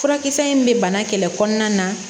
Furakisɛ in bɛ bana kɛlɛ kɔnɔna na